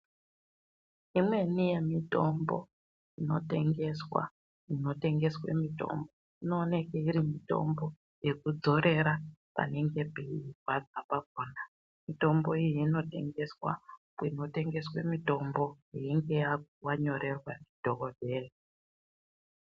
Imweni yemitombo inotengeswa munotengeswe mitombo, inooneke iri mitombo yekudzorera panenge peirwadza pakhona. Miyombo iyi inotengeswa munotengeswa mitombo, yeunonga wanyorerwa ndidhokodheya.